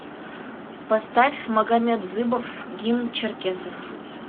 поставь магамет дзыбов гимн черкесов